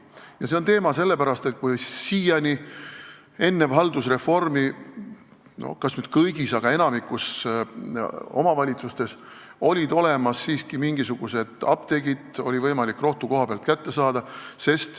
Ja see on teema sellepärast, et siiani, enne haldusreformi olid omavalitsustes – kas nüüd päris kõigis, aga enamikus siiski – olemas mingisugused apteegid, oli võimalik rohtu kohapealt kätte saada.